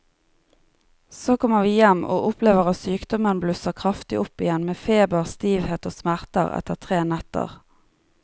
Så kommer vi hjem og opplever at sykdommen blusser kraftig opp igjen med feber, stivhet og smerter etter tre netter.